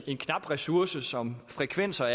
en knap ressource som frekvenser